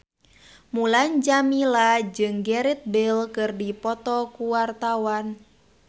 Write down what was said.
Mulan Jameela jeung Gareth Bale keur dipoto ku wartawan